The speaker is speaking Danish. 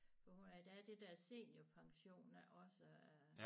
For der er det der seniorpension også